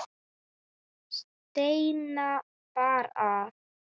Steina bar að.